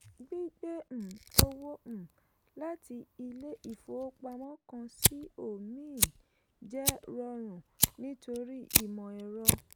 gbigbe um owó um láti ilé ìfowópamọ́ kan sí omíìn jẹ́ rọrùn nítorí imọ́ ẹ̀rọ.